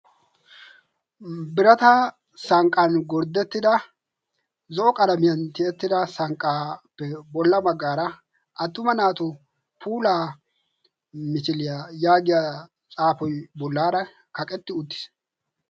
birata sanqqan gorddettida zo77o qalamiyan tiyettida sanqqaappe bolla maggaara attuma naatu puulaa michiliyaa yaagiya xaafoi bollaara kaqetti uttiis.